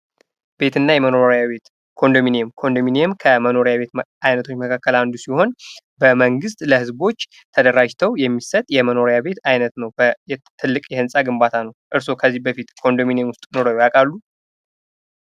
ቤትና መኖሪያ ቤት ኮንደሚኒየም ኮንዶሚኒየም ከመኖሪያ ቤት አይነቶች መካከል አንዱ ሲሆን በመንግሥት ለህዝቦች ተደራጅተው የሚሰጥ የመኖሪያ ቤት አይነት ነው። ትልቅ የህንፃ ግንባታ ነው። እርስዎ ከዚህ በፊት ኮንዶሚኒየም ውስጥ ኑረው ያውቃሉ?